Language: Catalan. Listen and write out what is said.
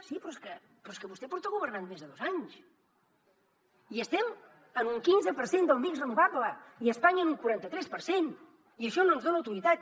sí però és que vostè porta governant més de dos anys i estem en un quinze per cent del mix renovable i espanya en un quaranta tres per cent i això no ens dona autoritat